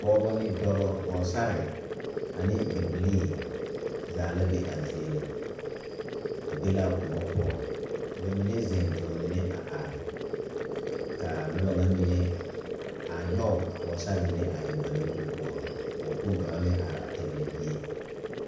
Pɔgebo ne dɔɔbo ,Pɔgesera ane bibilee zaa la be a zie ŋa ba be la kõɔ poɔ ka ba mine zeŋ ka ba mine a are kaa noba nyɛ mine a nyoŋ a Pɔgesera mine a eŋ ba nuure poɔ ka pɔge kpoŋ kaŋa meŋ are a pegle bie.